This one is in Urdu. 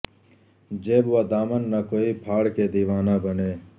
جیب و دامن نہ کوئی پھاڑ کے دیوانہ بنے